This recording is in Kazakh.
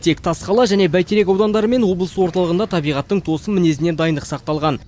тек тасқала және бәйтерек аудандары мен облыс орталығында табиғаттың тосын мінезіне дайындық сақталған